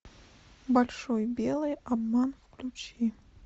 большой белый обман включи